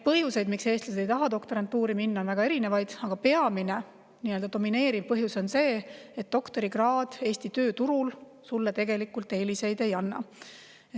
Põhjuseid, miks eestlased ei taha doktorantuuri minna, on väga erinevaid, aga peamine, domineeriv põhjus on see, et doktorikraad Eesti tööturul tegelikult eeliseid ei anna.